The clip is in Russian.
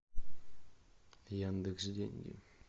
яндекс деньги